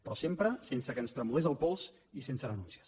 però sempre sense que ens tremolés el pols i sense renúncies